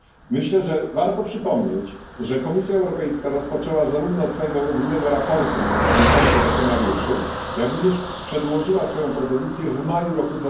Myślę, że warto przypomnieć, że Komisja Europejska rozpoczęła zarówno od swojego ogólnego sprawozdania dotyczącego scenariuszy, jak również przedłożyła swoją propozycję w maju roku